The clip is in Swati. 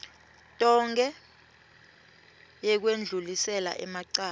tonkhe yekwendlulisela emacala